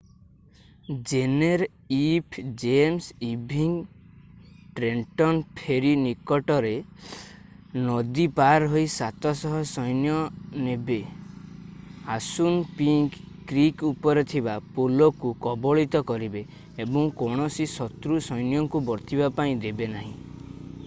ଜେନେରlf James Ewing Trenton ferry ନିକଟରେ ରେ ନଦୀ ପାର ହୋଇ ୭୦୦ ସୈନ୍ୟ ନେବେ ଆସୁନପିଙ୍କ୍ କ୍ରୀକ୍ ଉପରେ ଥିବା ପୋଲକୁ କବଳିତ କରିବେ ଏବଂ କୌଣସି ଶତ୍ରୁ ସୈନ୍ୟଙ୍କୁ ବର୍ତ୍ତିବା ପାଇଁ ଦେବେ ନାହିଁ।